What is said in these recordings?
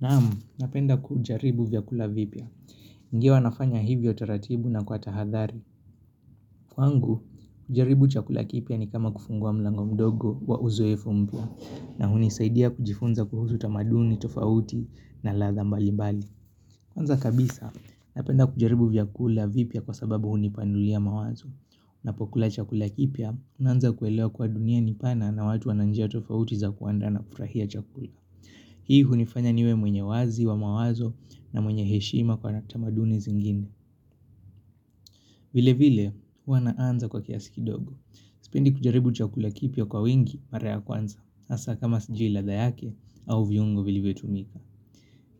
Naam, napenda kujaribu vyakula vipya. Ingawa nafanya hivyo taratibu na kwa tahadhari. Kwangu, kujaribu chakula kipya ni kama kufungua mlango mdogo wa uzoefu mpya na hunisaidia kujifunza kuhusu tamaduni, tofauti na ladha mbali mbali. Anza kabisa, napenda kujaribu vyakula vipya kwa sababu hunipanulia mawazo. Napokula chakula kipya, unaanza kuelewa kuwa dunia ni pana na watu wana njia tofauti za kuandaa na kufurahia chakula. Hii hunifanya niwe mwenye wazi wa mawazo na mwenye heshima kwa tamaduni zingine vile vile huwa naanza kwa kiasi kidogo Spendi kujaribu chakula kipya kwa wingi mara ya kwanza Asa kama sijui ladha yake au viungo vilivyotumika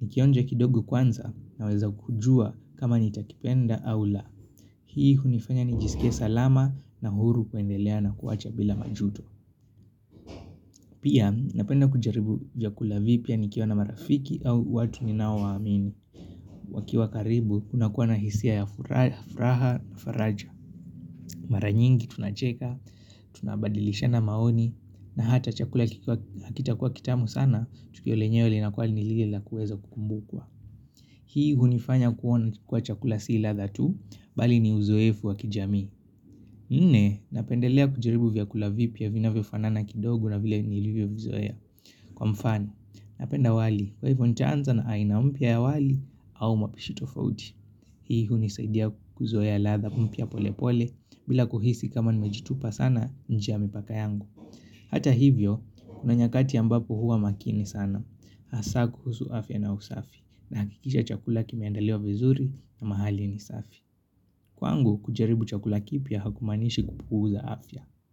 Nikionja kidogo kwanza naweza kujua kama nitakipenda au la Hii hunifanya nijisike salama na huru kuendelea na kuwacha bila majuto Pia napenda kujaribu vyakula vipya nikiwa na marafiki au watu ninao waamini wakiwa karibu, unakuwa na hisia ya furaha na faraja Mara nyingi tunacheka, tunabadilishana maoni na hata chakula kikiwa hakitakuwa kitamu sana Tukio lenyewe linakua ni lile la kuweza kukumbukwa Hii hunifanya kuona kukula chakula si ladha tu Bali ni uzoefu wa kijami Nne, napendelea kujaribu vyakula vipya vinavyo fanana kidogo na vile nilivyo vizoea Kwa mfano, napenda wali, kwa ivo nitaanza na aina mpya ya wali au mapishi tofauti Hii hunisaidia kuzoea ladha mpya pole pole bila kuhisi kama nimejitupa sana nje ya mipaka yangu Hata hivyo, una nyakati ambapo huwa makini sana Asa kuhusu afya na usafi nahakikisha chakula kimeandaliwa vizuri na mahali ni safi Kwangu, kujaribu chakula kipya hakumanishi kupuuza afya.